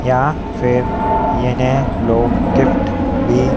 यहां फिर इन्हे लोग गिफ्ट भी--